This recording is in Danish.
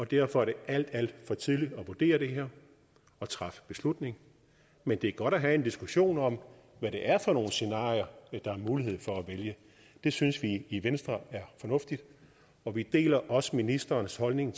derfor er det alt alt for tidligt at vurdere det her og træffe beslutning men det er godt at have en diskussion om hvad det er for scenarier der er mulighed for at vælge det synes vi i venstre er fornuftigt og vi deler også ministerens holdning